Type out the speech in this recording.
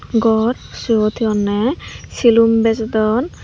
ghor sibot he honne silum bejodon.